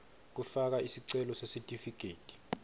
kufaka sicelo sesitifiketi